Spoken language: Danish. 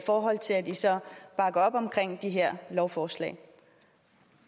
forhold til at de så bakker op om de her lovforslag